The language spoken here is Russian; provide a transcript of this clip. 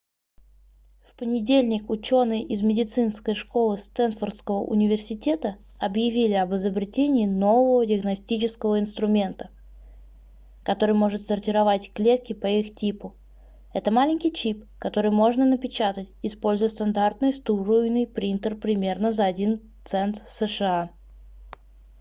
в понедельник ученые из медицинской школы стэнфордского университета объявили об изобретении нового диагностического инструмента который может сортировать клетки по их типу это маленький чип который можно напечатать используя стандартный струйный принтер примерно за 1 цент сша